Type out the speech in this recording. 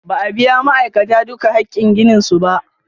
Ba a biya ma'aikatan duka hakin ginin su ba.